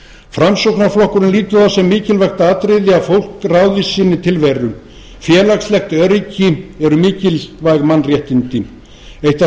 framsóknarflokkurinn lítur á það sem mikilvægt atriði að fólk ráði sinni tilveru félagslegt öryggi eru mikilvæg mannréttindi eitt af